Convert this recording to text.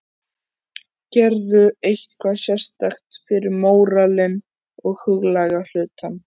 Gerirðu eitthvað sérstakt fyrir móralinn og huglæga hlutann?